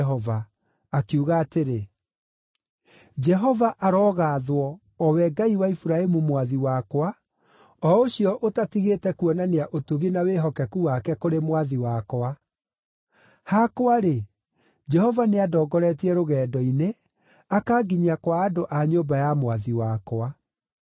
akiuga atĩrĩ, “Jehova arogaathwo, o we Ngai wa Iburahĩmu mwathi wakwa, o ũcio ũtatigĩte kuonania ũtugi na wĩhokeku wake kũrĩ mwathi wakwa. Hakwa-rĩ, Jehova nĩandongoretie rũgendo-inĩ, akanginyia kwa andũ a nyũmba ya mwathi wakwa.”